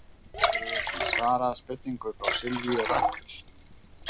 Hér er einnig svarað spurningu frá Sylvíu Rakel: